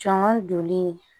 Jɔn joli